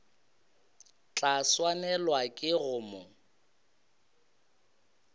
tla swanelwa ke go mo